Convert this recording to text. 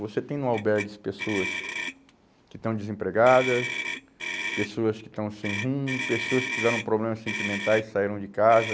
Você tem no albergues pessoas que estão desempregadas, pessoas que estão sem rumo, pessoas que tiveram problemas sentimentais, saíram de casa.